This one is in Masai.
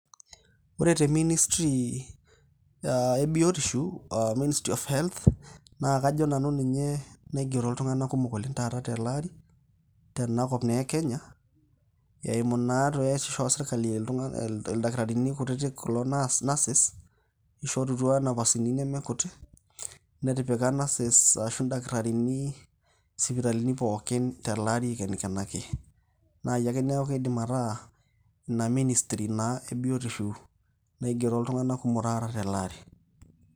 ore te ministry e biotisho, ministry of health .naa kajo nanu ninye naigero iltunganak kumok oleng taata tele ari. tenakop naa ekenya eimu naa, ildakitarini kutitik kulo nurses, ishorutua inapasini neme kutik. netipika nurses ashu ildakitarini isipitalini pookin tele ari ikenikenaki. naai eku neeku kidim ataa Ina ministry ake ebiotisho naigero iltunganak kumok taata tele ari.